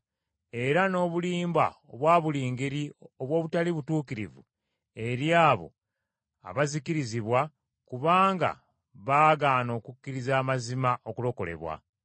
era n’obulimba obwa buli ngeri obw’obutali butuukirivu eri abo abazikirizibwa, kubanga bagaana okukkiriza amazima okulokolebwa.